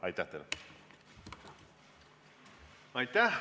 Aitäh teile!